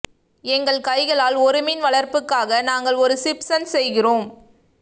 எங்கள் கைகளால் ஒரு மீன் வளர்ப்புக்காக நாங்கள் ஒரு சிப்சன் செய்கிறோம்